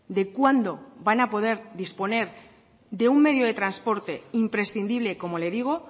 de cuándo van a poder disponer de un medio de transporte imprescindible como le digo